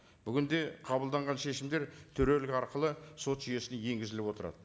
бүгінде қабылданған шешімдер төрелік арқылы сот жүйесіне енгізіліп отырады